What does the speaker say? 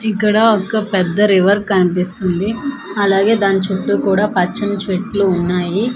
ఇక్కడ ఒక పెద్ద రివర్ కనిపిస్తుంది అలాగే దాని చుట్టూ కూడా పచ్చని చెట్లు ఉన్నాయి.